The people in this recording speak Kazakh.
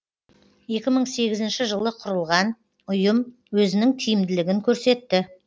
екі мың сегізінші жылы құрылған ұйым өзінің тиімділігін көрсетті